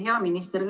Hea minister!